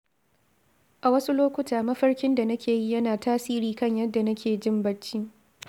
A wasu lokuta, mafarkin da nake yi yana tasiri kan yadda nake jin bacci.